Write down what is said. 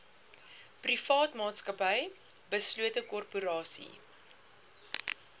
privaatmaatsappy beslote korporasie